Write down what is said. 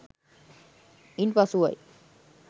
ඉන් පසුවයි.